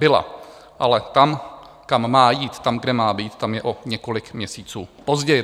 Byla, ale tam, kam má jít, tam, kde má být, tam je o několik měsíců později.